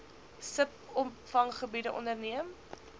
sub opvanggebiede onderneem